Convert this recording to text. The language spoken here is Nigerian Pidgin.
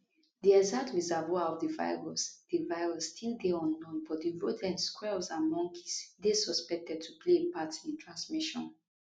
di exact reservoir of di virus di virus still dey unknown but rodents squirrels and monkeys dey suspected to play a part in transmission